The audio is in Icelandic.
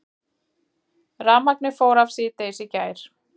Rafmagnið fór af síðdegis í gær